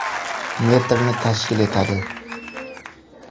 metrni tashkil etadi.